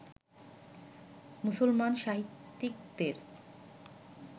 মুসলমান সাহিত্যকদের